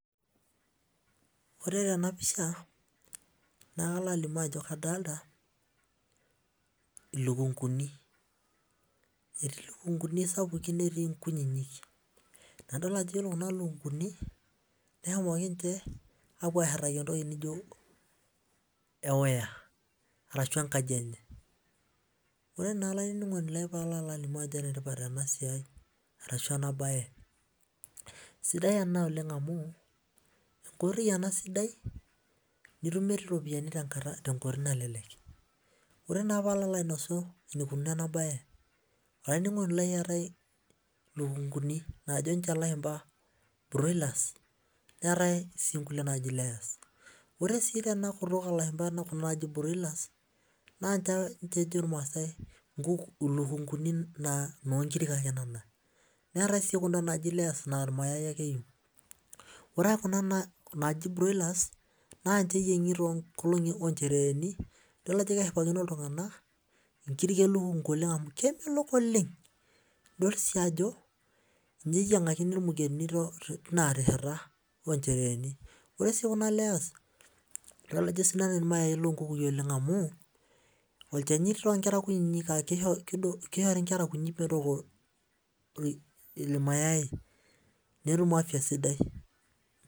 Ore tenapisha nakalo alimu ajo kadolta olukunguni etii lukunguni sapukin netii nkutitik ore kuna lukunguni neyawuaki aponuarashu enkaji enye ore na olaininingoni lai palo alimu ano enetipat enasiai arashu enabae sidai ena amu enkoitoi enasidai nitumie ropiyani asioki ore naa palo alimu enikununo enabae olaininingoni lai eetae lukunguni najo lashumba broilers neetae sinkoliotin naji layers ore na kuna tokitin naji broilers na ninche ejo lashumba ilukunguni na nkirik ake enyae neetae si kuna naji layers na irmosor ake ninche eitau ore naa kuna naji broilers na ninche eyiengi tonchereeni idol ano keshipakino ltunganak nkirik elukungu amu kemelok oleng ninche eyiangakini imugenini oonchereni ore si kuna layers na idol ajo kesidai irmosor lolukunguni amu olchani tonkera kutitik amu irmayai netum afya sidai.